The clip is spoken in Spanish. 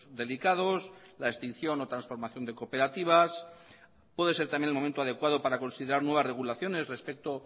delicados la extinción o transformación de cooperativas puede ser también el momento adecuado para considerar nuevas regulaciones respecto